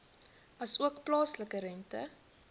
asook plaaslike rente